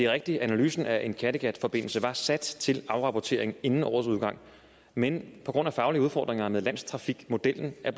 rigtigt at analysen af en kattegatforbindelse var sat til afrapportering inden årets udgang men på grund af faglige udfordringer med landstrafikmodellen er